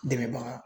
Dɛmɛbaga